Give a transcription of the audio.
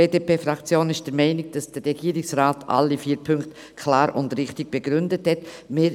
Die BDP-Fraktion ist der Meinung, dass der Regierungsrat alle vier Punkte klar und richtig begründet hat.